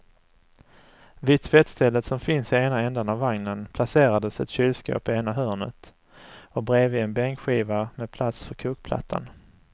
Vid tvättstället som finns i ena ändan av vagnen placerades ett kylskåp i ena hörnet och bredvid en bänkskiva med plats för kokplattan.